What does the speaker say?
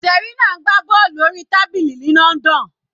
Serena ń gbá bọ́ọ̀lù orí tábìlì ní London.